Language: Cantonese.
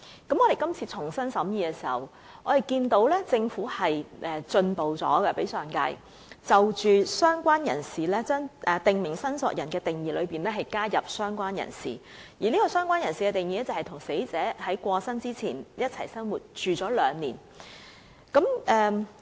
不過，我們今次重新審議《條例草案》時，便發現政府比上一屆進步，在"訂明申索人"的定義中加入了"相關人士"的類別，而"相關人士"的定義則為與死者在去世前共同生活了兩年的人。